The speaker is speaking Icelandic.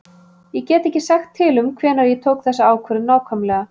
Ég get ekki sagt til um hvenær ég tók þessa ákvörðun nákvæmlega.